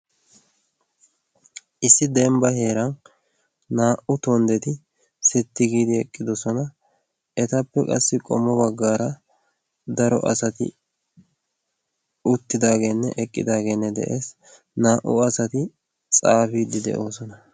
issi dembba heeran naa77u tonddeti sitti giidi eqqidosona etappe qassi qommo baggaara daro asati uttidaageenne eqqidaageenne de7ees naa77u asati xaafiiddi de7oosona